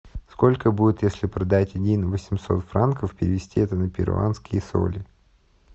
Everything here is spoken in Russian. сколько будет если продать один восемьсот франков перевести это на перуанские соли